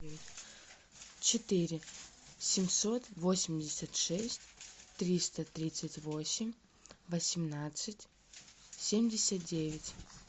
четыре семьсот восемьдесят шесть триста тридцать восемь восемнадцать семьдесят девять